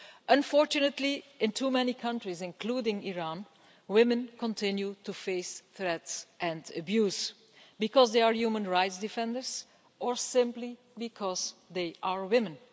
Unfortunately, in too many countries, including Iran, women continue to face threats and abuse because they are human rights defenders or simply because they are women.